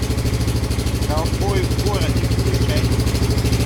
ковбои в городе включай